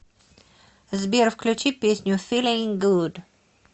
сбер включи песню филинг гуд